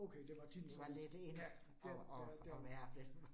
Okay det var til den sådan lidt ja ja ja